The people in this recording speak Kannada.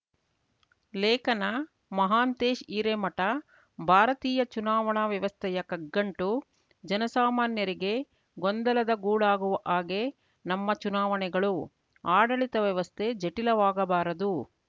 ಲೇಖನ ಮಹಾಂತೇಶ್‌ ಹಿರೇಮಠ ಭಾರತೀಯ ಚುನಾವಣಾ ವ್ಯವಸ್ಥೆಯ ಕಗ್ಗಂಟು ಜನಸಾಮಾನ್ಯರಿಗೆ ಗೊಂದಲದ ಗೂಡಾಗುವ ಹಾಗೆ ನಮ್ಮ ಚುನಾವಣೆಗಳು ಆಡಳಿತ ವ್ಯವಸ್ಥೆ ಜಟಿಲವಾಗಬಾರದು